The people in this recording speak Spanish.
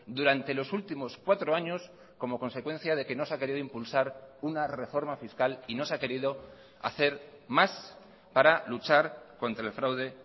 durante los últimos cuatro años como consecuencia de que no se ha querido impulsar una reforma fiscal y no se ha querido hacer más para luchar contra el fraude